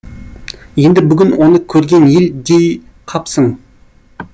енді бүгін оны көрген ел дей қапсың